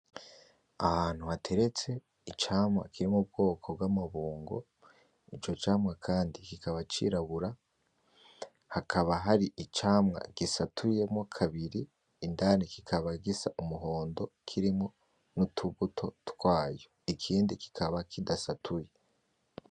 Ahantu hateretse icamwa kiri m'ubwoko bw'amabungo, ico camwa kandi kikaba cirabura, hakaba hari icamwa gisatuyemwo kabiri indani kikaba gisa umuhondo kirimwo n'utubuto twayo ikindi kikaba kidasatuye.